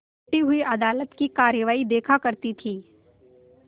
बैठी हुई अदालत की कारवाई देखा करती थी